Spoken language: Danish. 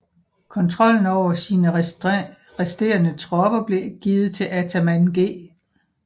Kontrollen over sine resterende tropper blev givet til ataman G